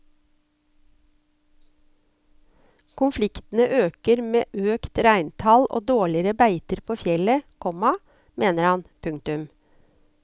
Konfliktene øker med økt reintall og dårligere beiter på fjellet, komma mener han. punktum